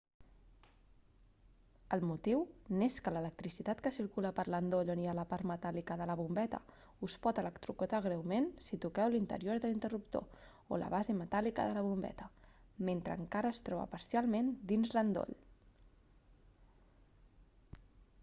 el motiu n'és que l'electricitat que circula per l'endoll on hi ha la part metàl·lica de la bombeta us pot electrocutar greument si toqueu l'interior de l'interruptor o la base metàl·lica de la bombeta mentre encara es troba parcialment dins l'endoll